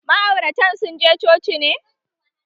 Ma'auratan sun je coci ne?